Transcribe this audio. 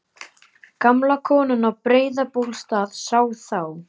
Gamla konan á Breiðabólsstað sá þá.